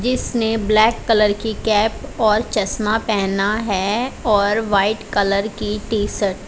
जिसने black colour की cap और चश्मा पहना है और व्हाइट कलर की टी_शर्ट --